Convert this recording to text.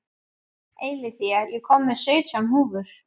Eileiþía, ég kom með sautján húfur!